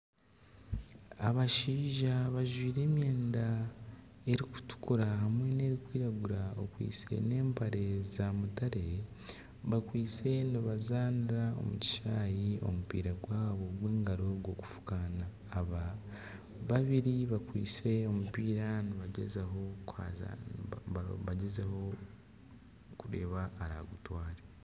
Shumbusha ezabaire zisiikire zikwasize aha sowaani. Shumbusha ezi nibazisiika obumwe bateekamu omuceeri nainga obushaza. Shumbusha ezi nibazisiika barikukozesa buto engano nana ekitumbisa.